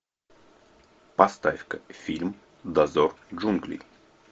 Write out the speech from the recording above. поставь ка фильм дозор джунглей